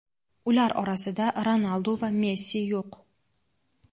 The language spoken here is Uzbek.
ular orasida Ronaldu va Messi yo‘q.